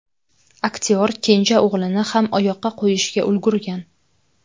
Aktyor kenja o‘g‘lini ham oyoqqa qo‘yishga ulgurgan.